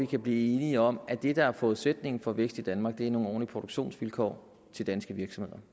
kan blive enige om at det der er forudsætningen for vækst i danmark er nogle ordentlige produktionsvilkår til danske virksomheder